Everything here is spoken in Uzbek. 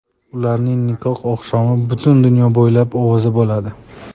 Ularning nikoh oqshomi butun dunyo bo‘ylab ovoza bo‘ladi.